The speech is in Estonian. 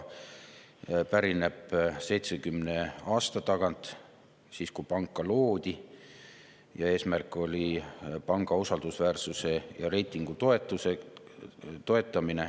See pärineb 70 aasta tagant, ajast, kui pank loodi, ja eesmärk oli panga usaldusväärsuse ja reitingu toetamine.